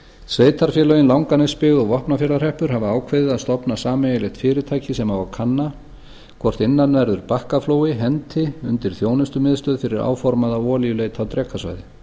sveitarfélögin langanesbyggð og vopnafjarðarhreppur hafa ákveðið að stofna sameiginlegt fyrirtæki sem á að kanna hvort innanverður bakkaflói henti undir þjónustumiðstöð fyrir áformaða olíuleit á drekasvæði